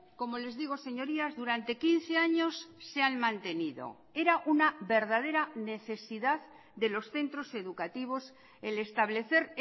como les digo señorías durante quince años se han mantenido era una verdadera necesidad de los centros educativos el establecer